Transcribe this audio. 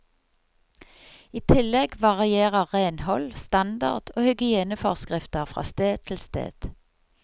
I tillegg varierer renhold, standard og hygieneforskrifter fra sted til sted.